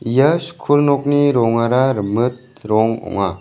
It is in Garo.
ia skul nokni rongara rimit rong ong·a.